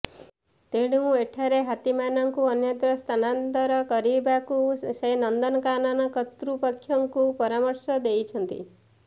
ତେଣୁ ଏଠାରୁ ହାତୀମାନଙ୍କୁ ଅନ୍ୟତ୍ର ସ୍ଥାନାନ୍ତର କରିବାକୁ ସେ ନନ୍ଦନକାନନ କର୍ତ୍ତୃପକ୍ଷଙ୍କୁ ପରାମର୍ଶ ଦେଇଛନ୍ତି